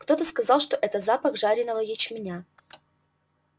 кто-то сказал что это запах жареного ячменя